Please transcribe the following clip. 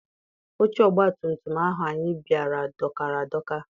Oche ọgbatumtum ahụ anyị bara dọkara adọka.